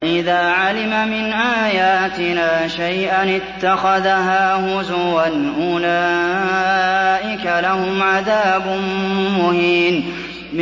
وَإِذَا عَلِمَ مِنْ آيَاتِنَا شَيْئًا اتَّخَذَهَا هُزُوًا ۚ أُولَٰئِكَ لَهُمْ عَذَابٌ مُّهِينٌ